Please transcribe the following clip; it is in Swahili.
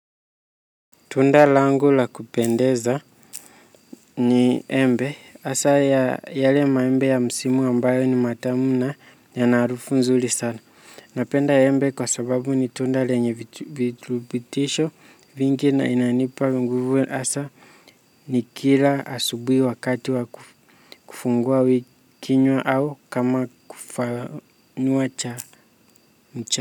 Tunda langu la kupendeza ni embe hasa ya yale maembe ya msimu ambayo ni matamu na yanaharufu nzuri sana. Napenda embe kwa sababu ni tunda lenye viturubitisho vingi na inanipa nguvu hasa nikila asubuhi wakati wa kufungua kinywa au kama kufanua cha mcha.